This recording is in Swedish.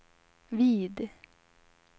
vid